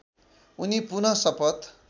उनी पुनः शपथ